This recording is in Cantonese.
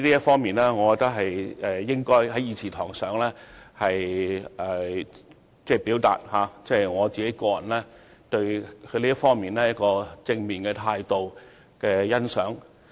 就此，我認為我應該在議事堂上，表達我對相關官員正面態度的欣賞。